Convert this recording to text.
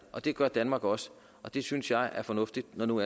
det gør danmark også og det synes jeg er fornuftigt når nu